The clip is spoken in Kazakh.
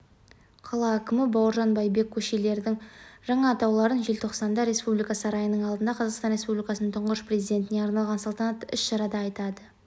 қала әкімі бауыржан байбек көшелердің жаңа атауларын желтоқсанда республика сарайының алдында қазақстан республикасының тұңғыш президентіне арналған салтанатты іс-шарада айтады